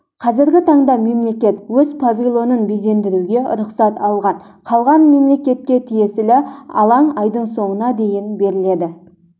қазіргі таңда мемлекет өз павильонын безендіруге рұқсат алған қалған мемлекетке тиесілі алаң айдың соңына дейін беріледі